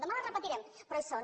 demà les repetirem però hi són